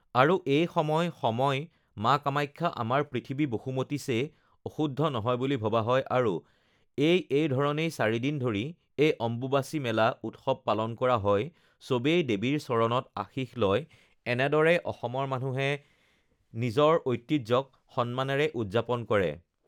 আৰু এই সময় সময় মা কামাখ্যা আমাৰ পৃথিৱী বসুমতী চে অশুদ্ধ হয় বুলি ভবা হয় নিজৰ ঐতিহ্যক স-সন্মানৰে উদযাপন কৰে